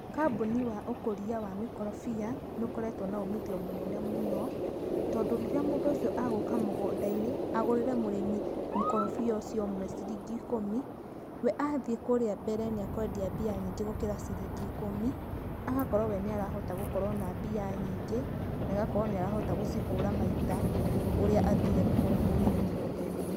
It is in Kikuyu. Kambũnĩ wa ũkũria wa mĩkorobia, nĩ ũkoretwo na umĩthio mũnene mũno, tondũ rĩria mũndũ ũcĩo agũuka mũgunda-ĩnĩ agũrĩre mũrimi mũkorobia ũcĩo cĩrĩngi ĩkũmi ,we athĩe kũrĩa mbere nĩ akwendia mbĩa nyĩngi gukira cĩrĩngi ĩkũmi. Agakorwo we niarahota gukorwo na mbĩa nyĩngi na agakorwo we niarahota gũcĩhura maita ,ũrĩa athĩre kũgura kũria mũgunda-ĩnĩ.